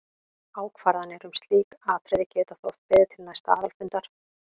Ákvarðanir um slík atriði geta þó oft beðið til næsta aðalfundar.